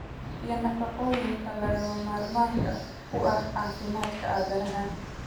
iyo nafaqooyinka lagama maarmaanka u ah caafimaadka aadanaha.